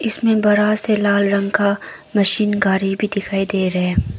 इसमें बड़ा से लाल रंग का मशीन गाड़ी भी दिखाई दे रहे हैं।